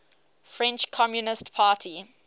french communist party